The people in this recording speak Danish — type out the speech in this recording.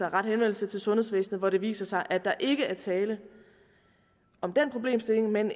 rette henvendelse til sundhedsvæsenet hvor det viser sig at der ikke er tale om den problemstilling men